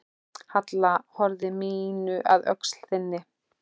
Halla höfði mínu að öxl þinni.